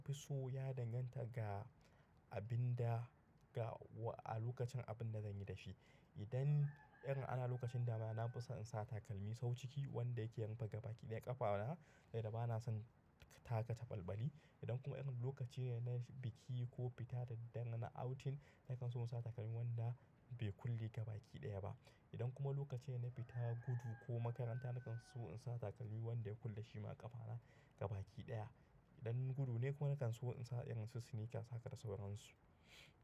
Na fi so ya danganta ga abin da ga wa a lokacin abin da zan yi da shi. Idan irin ana lokacin dama na fi so in sa takalmi sau ciki wanda yake yan faga baki ɗaya ƙafana da dama bana son taka ta ɓalɓali. Idan kuma lokaci ne na biki ko fita da daddare na outing nakan so in sa takalmi wanda bai kulle gabaki ɗaya ba. Idan kuma lokaci ne na fita gudu ko makaranta nakan so in sa takalmi wanda ya kulle shi ma ƙafana gabaki ɗaya. Idan gudu ne kuma nakan so in sa irin sneakers haka da sauransu.